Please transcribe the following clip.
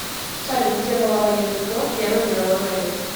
салют где была военный флот первой мировой войны